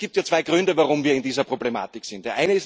Es gibt ja zwei Gründe, warum wir in dieser Problematik sind.